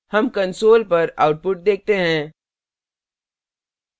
हम console पर output देखते हैं